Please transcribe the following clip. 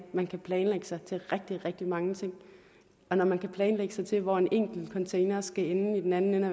man kan planlægge sig til rigtig rigtig mange ting og når man kan planlægge sig til hvor en enkelt container skal ende i den anden